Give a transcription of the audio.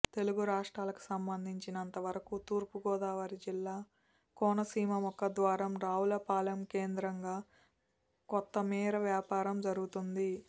తెలుగు రాష్ట్రాలకు సంబంధించినంతవరకు తూర్పుగోదావరి జిల్లా కోనసీమ ముఖద్వారం రావులపాలెం కేంద్రంగా కొత్తమీర వ్యాపారం జరుగుతుంది